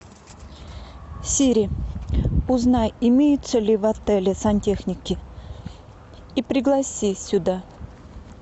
сири узнай имеются ли в отеле сантехники и пригласи сюда